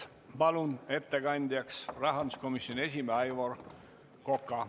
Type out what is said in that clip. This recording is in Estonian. Palun ettekandjaks rahanduskomisjoni esimehe Aivar Koka!